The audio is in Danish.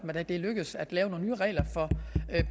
at det er lykkedes at lave nogle nye regler for